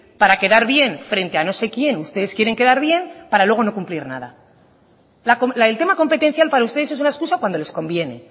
para quedar bien frente a no sé quién ustedes quieren quedar bien para luego no cumplir nada el tema competencial para ustedes es una excusa cuando les conviene